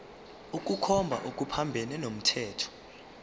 ukukhomba okuphambene nomthetho